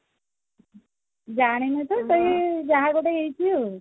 ଜାଣିନୁ ତ ସେଇ ଯାହା ଗୋଟେ ହେଇ ଥିବ ଆଉ